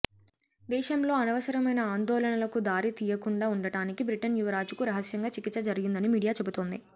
దేశంలో అనవసరమైన ఆందోళనలకు దారి తీయకుండా ఉండడానికి బ్రిటన్ యువరాజుకు రహస్యంగా చికిత్స జరిగిందని మీడియా చెబుతోంది